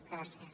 gràcies